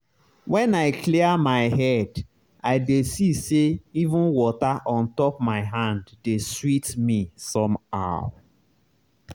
when i clear my head i dey see say even water on top my hand dey sweet me somehow.